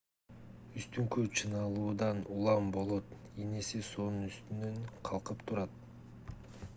үстүңкү чыңалуудан улам болот ийнеси суунун үстүндө калкып турат